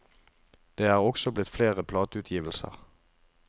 Det er også blitt flere plateutgivelser.